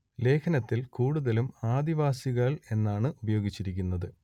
ലേഖനത്തിൽ കൂടുതലും ആദിവാസികൾ എന്നാണ് ഉപയോഗിച്ചിരിക്കുന്നത്